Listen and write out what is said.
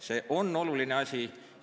See on oluline asi.